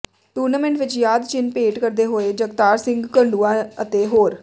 tournament ਵਿੱਚ ਯਾਦ ਚਿੰਨ੍ਹ ਭੇਟ ਕਰਦੇ ਹੋਏ ਜਗਤਾਰ ਸਿੰਘ ਘੜੂੰਆਂ ਅਤੇ ਹੋਰ